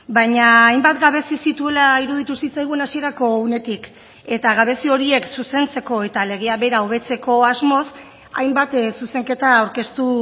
baina hainbat gabezi zituela iruditu zitzaigun hasierako unetik eta gabezi horiek zuzentzeko eta legea bera hobetzeko asmoz hainbat zuzenketa aurkeztu